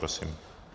Prosím.